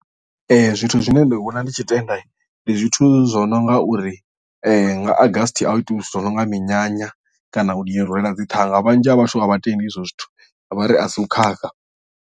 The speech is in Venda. Zwithu zwine nda vhona ndi tshi tenda ndi zwithu zwo no nga uri nga August a hu itiwi zwithu zwi no nga minyanya kana u rwela dziṱhanga vhunzhi ha vhathu a vha tendi hezwo zwithu vha ri a si u khakha.